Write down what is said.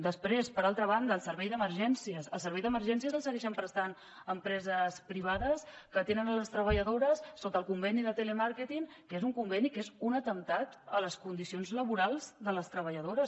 després per altra banda el servei d’emergències el servei d’emergències el segueixen prestant empreses privades que tenen les treballadores sota el conveni de telemàrqueting que és un conveni que és un atemptat a les condicions laborals de les treballadores